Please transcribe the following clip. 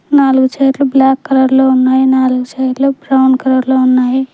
నాలుగు చైర్ లు black colour లో ఉన్నాయి నాలుగు చైర్ లు బ్రౌన్ కలర్ లో ఉన్నాయి.